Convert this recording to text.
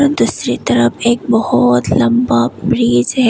दूसरी तरफ एक बहुत लम्बा ब्रिज है।